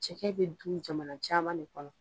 Cɛkɛ bɛ du jamana caman de kɔnɔ.